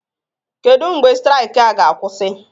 Kedu mgbe straịkị a ga-akwụsị?